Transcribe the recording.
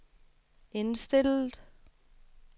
indstillet